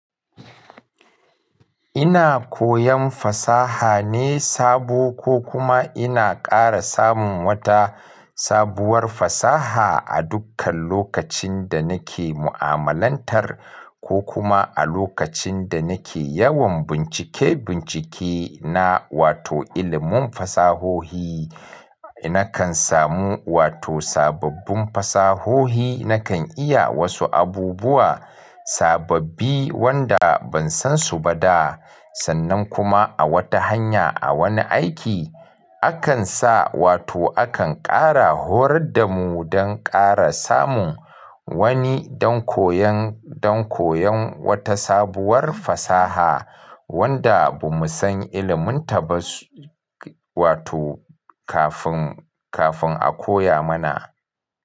Ina koyan fasaha ne sabo ko kuma ina ƙara samun wata sabuwar fasaha a dukkan lokacin da nake mu'amalantar ko kuma a lokacin da nake yawan bincike-bincike na, wato ilimin fasahohi, nakan samu wato sababbin fasahohi, nakan iya wasu abubuwa sababbi wanda ban san su ba da. Sannan kuma a wata hanya, a wani aiki, akan sa wato akan ƙara horar da mu don ƙara samun wani don koyon, don koyon wata sabuwar fasaha wanda ba mu san ilimin ta ba wato kafin, kafin a koya mana.